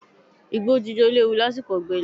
Igbó jíjó léwu lásìkò ọ̀gbẹlẹ̀.